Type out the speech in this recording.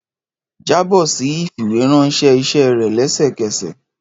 Jabọ si ifiweranṣẹ iṣẹ rẹ lẹsẹkẹsẹ!